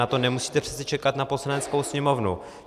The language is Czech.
Na to nemusíte přece čekat na Poslaneckou sněmovnu.